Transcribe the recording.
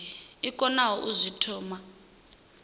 i konaho u zwi thoma